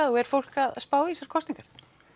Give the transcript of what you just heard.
og er fólk að spá í þessar kosningar